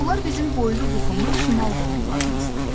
Bunlar bizim boylu-buxunlu şimal qohumlarımızdır.